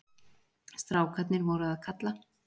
Strákarnir voru að kalla.